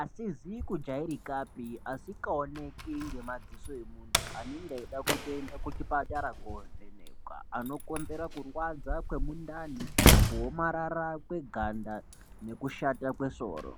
asizi kujairika pee asikaoneki ngemaziso emuntu anenga eida kutoenda kuchipatara kovhenekwa Anokonzera kurwadza kwemundani kuomarara kweganda nekushata kwesoro.